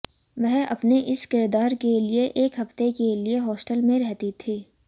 वह अपने इस किरदार के लिए एक हफ्ते के लिए हॉस्टल में रही थीं